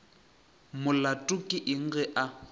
molato ke eng ge a